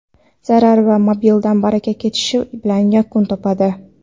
zarar va molidan baraka ketishi bilan yakun topadi.